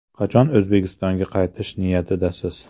Qachon O‘zbekistonga qaytish niyatidasiz?